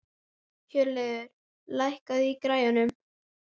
Hjörleifur, lækkaðu í græjunum.